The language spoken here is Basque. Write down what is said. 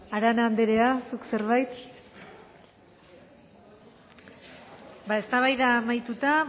arana anderea zuk zerbait ba eztabaida amaituta